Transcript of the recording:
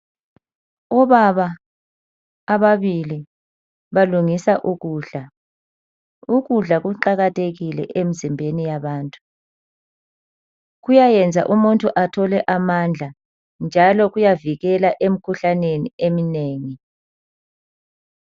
Ubaba ababili balungisa ukudla. Ukudla kuqakathekile emzimbeni yabantu, kuyayenza umuntu athole amandla njalo kuyavikela emkhuhlaneni eminengi.